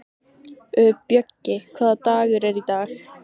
Bjöggi, hvaða dagur er í dag?